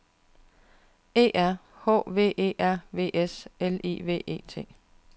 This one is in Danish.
E R H V E R V S L I V E T